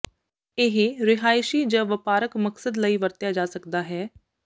ਇਹ ਰਿਹਾਇਸ਼ੀ ਜ ਵਪਾਰਕ ਮਕਸਦ ਲਈ ਵਰਤਿਆ ਜਾ ਸਕਦਾ ਹੈ